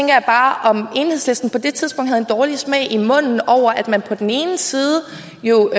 jeg bare om enhedslisten på det tidspunkt havde en dårlig smag i munden over at man på den ene side jo